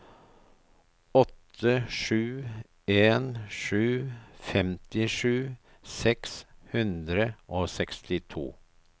åtte sju en sju femtisju seks hundre og sekstito